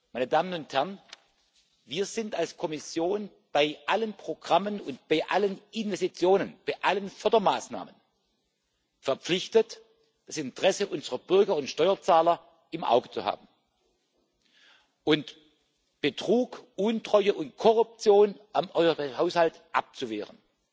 Meine Damen und Herren, wir sind als Kommission bei allen Programmen, bei allen Investitionen und bei allen Fördermaßnahmen verpflichtet, das Interesse unserer Bürger und Steuerzahler im Auge zu haben und Betrug, Untreue und Korruption am Haushalt abzuwehren